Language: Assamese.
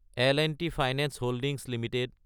L and T finance holdings Ltd